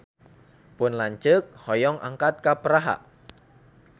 Pun lanceuk hoyong angkat ka Praha